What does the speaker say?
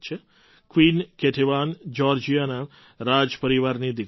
queen Ketevan જ્યૉર્જિયાના રાજપરિવારની દીકરી હતી